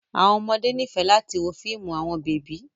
Awọn ọmọde nifẹ lati wo fiimu awọn bebi